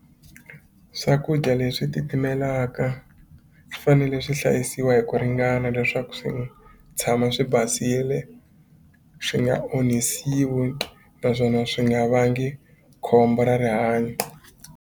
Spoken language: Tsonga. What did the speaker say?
Swakudya leswi titimelaka fanele swi hlayisiwa hi ku ringana leswaku swi tshama swi basile swi nga onhisiwi naswona swi nga vangi khombo ra rihanyo.